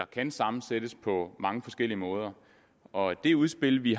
kan sammensættes på mange forskellige måder og det udspil vi